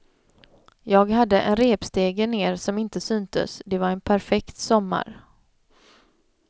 Jag hade en repstege ner som inte syntes, det var en perfekt sommar.